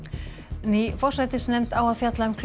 ný forsætisnefnd á að fjalla um